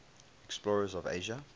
explorers of asia